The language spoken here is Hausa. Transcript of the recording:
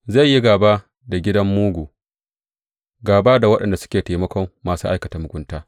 Zai yi gāba da gidan mugu, gāba da waɗanda suke taimakon masu aikata mugunta.